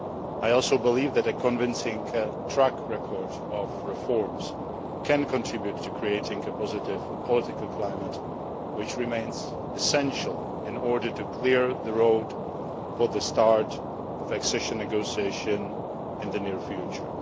I also believe that a convincing track record of reforms can contribute to creating a positive political climate, which remains essential in order to clear the road for the start of accession negotiations in the near future.